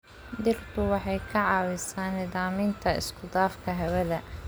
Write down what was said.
Dhirtu waxay ka caawisaa nidaaminta isku dhafka hawada.